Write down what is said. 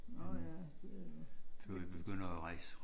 Nå ja det er jo vigtigt